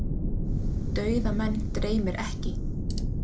Dauða menn dreymir ekki.